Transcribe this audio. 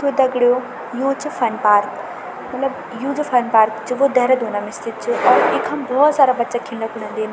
तो दगडियों यु च फन पार्क मलब यु च फन पार्क जो देहरादून म स्थित च और इखम भोत सारा बच्चा खिन्ना कु अन्दीन।